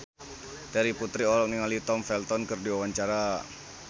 Terry Putri olohok ningali Tom Felton keur diwawancara